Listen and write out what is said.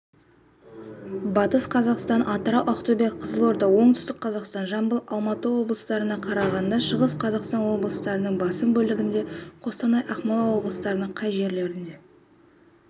батыс қазақстан атырау ақтөбе қызылорда оңтүстік қазақстан жамбыл алматы облыстарында қарағанды шығыс қазақстан облыстарының басым бөлігінде қостанай ақмола облыстарының кей жерлерінде